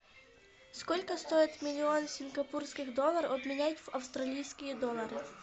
сколько стоит миллион сингапурских долларов обменять в австралийские доллары